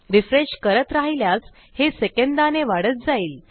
refresh करत राहिल्यास हे सेकंदाने वाढत जाईल